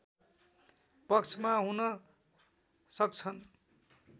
पक्षमा हुन सक्छन्